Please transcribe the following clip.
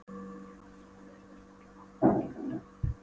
Í fornsögunum er yfirleitt talað um álfa, ekki huldufólk.